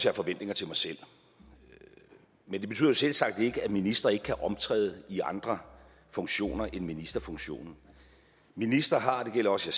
har forventninger til mig selv men det betyder jo selvsagt ikke at ministre ikke kan optræde i andre funktioner end ministerfunktioner en minister har det gælder også